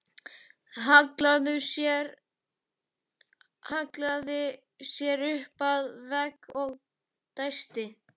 Hallaði sér upp að vegg og dæsti.